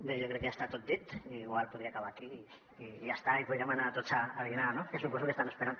bé jo crec que ja està tot dit i igual podria acabar aquí i ja està i podríem anar tots a dinar no que suposo que estan esperant